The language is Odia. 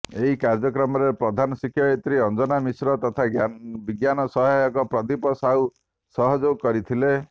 ଏହି କାର୍ଯ୍ୟକ୍ରମରେ ପ୍ରଧାନ ଶିକ୍ଷୟତ୍ରି ଅଞ୍ଜନା ମିଶ୍ର ତଥା ବିଜ୍ଞାନ ସହାୟକ ପ୍ରଦୀପ ସାହୁ ସହଯୋଗ କରିଥିଲେ